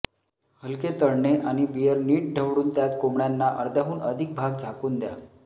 हलके तळणे आणि बिअर नीट ढवळून त्यात कोंबड्यांना अर्ध्याहून अधिक भाग झाकून द्या